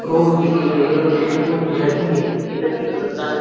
pro गई नदी है काका नदी --